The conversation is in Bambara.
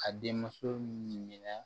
Ka den muso minɛ